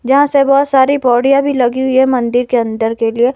जहां से बहोत सारी पोढ़ीया भी लगी हुई है मन्दिर के अंदर के लिए--